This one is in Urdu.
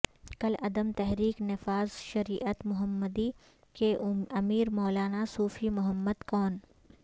کالعدم تحریک نفاذ شریعت محمدی کے امیر مولانا صوفی محمد کون